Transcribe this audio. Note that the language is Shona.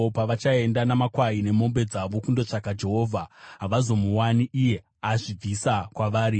Pavachaenda namakwai nemombe dzavo kundotsvaka Jehovha, havazomuwani; azvibvisa kwavari.